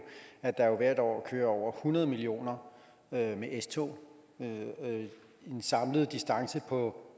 at der jo hvert år kører over hundrede millioner med s tog i en samlet distance på